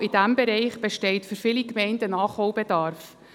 Und genau in diesem Bereich besteht für viele Gemeinden Nachholbedarf.